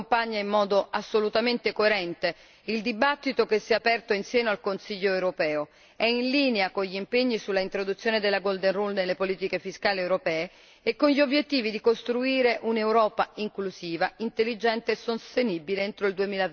Questa relazione accompagna in modo assolutamente coerente il dibattito che si è aperto in seno al Consiglio europeo, è in linea con gli impegni sull'introduzione della golden rule nelle politiche fiscali europee e con gli obiettivi di costruire un'Europa inclusiva, intelligente e sostenibile entro il